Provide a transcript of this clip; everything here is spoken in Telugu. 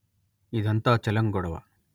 ఇదంతా చెలం గొడవ